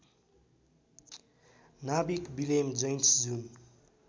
नाविक Willem Janszoon